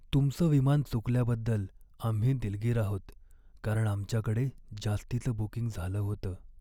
तुमचं विमान चुकल्याबद्दल आम्ही दिलगीर आहोत, कारण आमच्याकडे जास्तीचं बुकिंग झालं होतं.